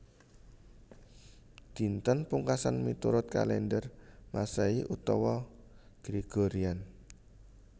Dinten Pungkasan miturut kalèndher Masehi utawi Gregorian